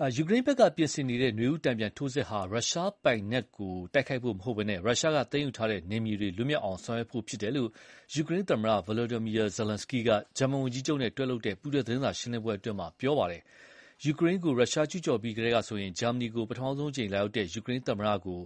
ယူကရိန်းဘက်ကပြင်ဆင်နေတဲ့ နွေဦးတန်ပြန်ထိုးစစ်ဟာ ရုရှားပိုင်နက်ကိုတိုက်ခိုက်ဖို့မဟုတ်ဘဲ ရုရှားသိမ်းယူထားတဲ့နယ်မြေတွေ လွတ်မြောက်အောင်ဆောင်ရွက်ဖို့ဖြစ်တယ်လို့ ယူကရိန်းသမ္မတ Volodymyr Zelenskyy က ဂျာမန်ဝန်ကြီးချုပ်နဲ့လုပ်တဲ့ ပူးတွဲသတင်းစာရှင်းလင်းပွဲမှာ ပြောပါတယ်။ ယူကရိန်းကိုရုရှားကျူးပြီးကတည်းကဆိုရင် ဂျာမနီကို ပထမဆုံးအကြိမ်လာရောက်တဲ့ ယူကရိန်းသမ္မတကို